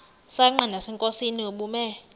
msanqa nasenkosini ubume